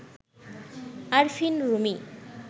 Arfin Rumi